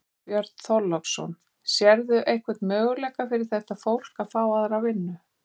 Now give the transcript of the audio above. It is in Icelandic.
Björn Þorláksson: Sérðu einhvern möguleika fyrir þetta fólk að fá aðra vinnu?